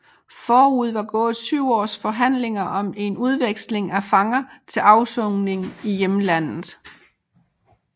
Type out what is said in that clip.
Forud var gået syv års forhandlinger om en udveksling af fanger til afsoning i hjemlandet